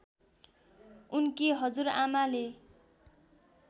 उनकी हजुरआमाले